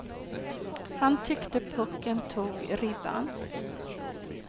Han tyckte pucken tog i ribban.